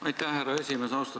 Aitäh, härra esimees!